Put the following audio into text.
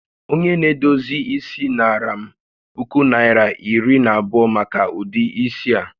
Onye na-edozi isi naara m puku Naịra ,iri na abụọ maka ụdị isi a